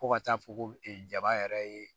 Fo ka taa fɔ ko e jabaa yɛrɛ ye